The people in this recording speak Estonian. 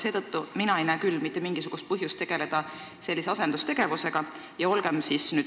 Seetõttu ei näe mina küll mitte mingisugust põhjust sellise asendustegevusega tegeleda.